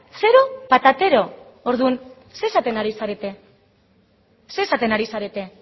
zero patatero orduan zer esaten ari zarete zer esaten ari zarete